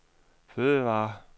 fødevarer